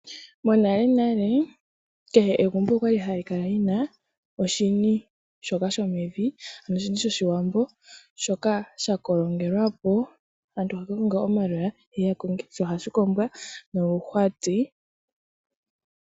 Monale nale kehe egumbo okwa li hali kala lyina oshini shoka shomevi ano oshini shOshiwambo shoka sha kolongelwa po aantu haya ka konga omaloya yeye ya kolonge ,sho ohashi kombwa noluhwati.